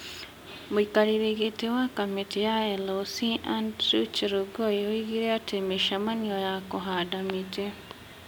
Mũikarĩri gĩtĩ wa kamĩtĩ ya LOC Andrew Chelogoi oigire atĩ mĩcemanio ya kũhanda mĩtĩ ,